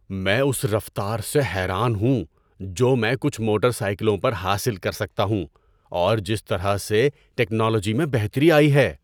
میں اس رفتار سے حیران ہوں جو میں کچھ موٹر سائیکلوں پر حاصل کر سکتا ہوں اور جس طرح سے ٹیکنالوجی میں بہتری آئی ہے۔